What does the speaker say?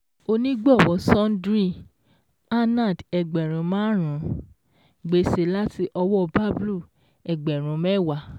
Onígbọ̀wọ́ Sundry - Anand ẹgbẹ̀rún márùn-ún; gbèsè láti ọwọ́ Bablu ẹgbẹ̀rún mẹ́wàá